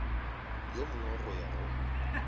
yo mongwe go ya go